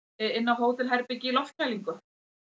inni á hótelherbergi í loftkælingu